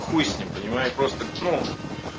хуй с ним понимаю просто ну